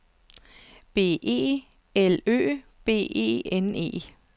B E L Ø B E N E